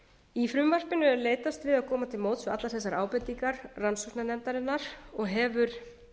í frumvarpinu er leitast við að koma til móts við allar þessar ábendingar rannsóknarnefndarinnar og hefur